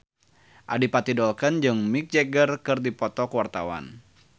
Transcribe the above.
Adipati Dolken jeung Mick Jagger keur dipoto ku wartawan